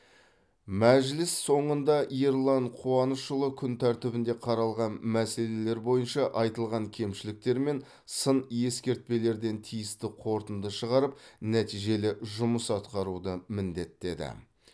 мәжіліс соңында ерлан қуанышұлы күн тәртібінде қаралған мәселелер бойынша айтылған кемшіліктер мен сын ескертпелерден тиісті қорытынды шығарып нәтижелі жұмыс атқаруды міндеттеді